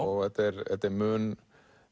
og þetta er þetta er mun